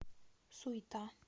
суйта